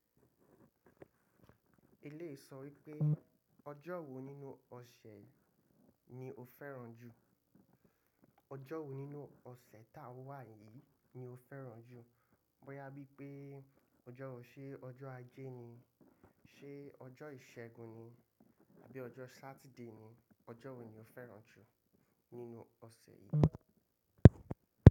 Eléyii sọ wípé ọjọ́ wo nínú ọ̀sẹ̀ ni o fẹ́ràn jù? Ọjọ́ wo nínú ọ̀sẹ̀ tá a wà yìí ni o fẹ́ràn jù? Bóyá bí i pé ọjọ́ wo, ṣe ọjọ́ Ajé ni, ṣe ọjọ́ Ìṣẹ́gun ni, àbí ọjọ́ Saturday ni, ọjọ́ wo ni o fẹ́ràn jù nínú ọ̀sẹ̀ yìí?